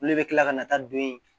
Olu de bɛ kila ka na taa don yen